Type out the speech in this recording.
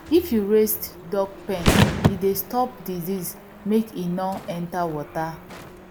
if you raised duck pen e dey stop disease make e nor enter water